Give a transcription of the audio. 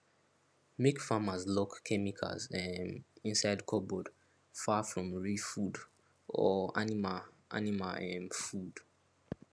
make farmers lock chemicals um inside cupboard far from real food or animal animal um food